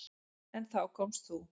En þá komst þú.